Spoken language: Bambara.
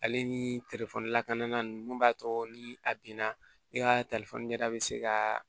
Ale ni lakana mun b'a to ni a binna i ka ɲɛda bɛ se ka